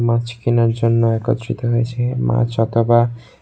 মাছ কিনার জন্য একত্রিত হয়েছে মাছ অথবা--